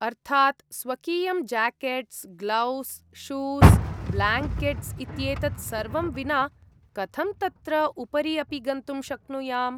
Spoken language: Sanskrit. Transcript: अर्थात् स्वकीयं ज्याकेट्स् ग्लोव्स् शूस् ब्ल्याङ्केट्स् इत्येतत् सर्वं विना कथं तत्र उपरि अपि गन्तुं शक्नुयाम्?